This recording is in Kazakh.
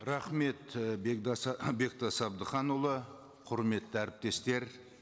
рахмет і бектас әбдіханұлы құрметті әріптестер